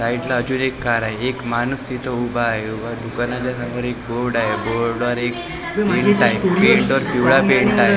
Side ला अजून एक कार आहे एक माणूस तिथं उभा आहे उभा दुकानाच्या समोर एक बोर्ड आहे बोर्ड वर एक प्रिंट आहे प्रिंटवर पिवळा पेंट आहे .